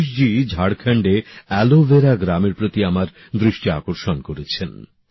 সতীশজী ঝাড়খন্ডে অ্যালোভেরা গ্রামের প্রতি আমার দৃষ্টি আকর্ষণ করেছেন